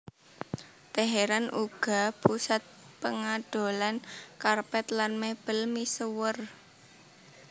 Teheran uga pusat pangadolan karpet lan mebel misuwur